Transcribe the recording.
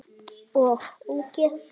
OG ÓGEÐ!